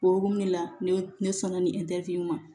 O hukumu de la ne ne sɔnna nin in ma